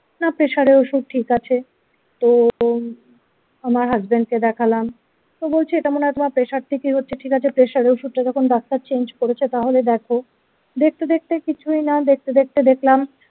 না pressure এ ওষুধ ঠিক আছে তো আমার হাসবেন্ড কে দেখালাম তো বলছি এটা মনে হয় তোমার pressure ঠিকই হচ্ছে ঠিক আছে pressure এ ওষুধটা যখন ডাক্তার চেঞ্জ করেছে তাহলে দেখো দেখতে দেখতে কিছুই না দেখতে দেখতে দেখলাম।